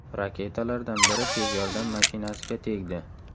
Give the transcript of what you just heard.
Raketalardan biri tez yordam mashinasiga tegdi.